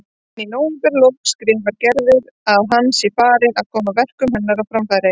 En í nóvemberlok skrifar Gerður að hann sé farinn að koma verkum hennar á framfæri.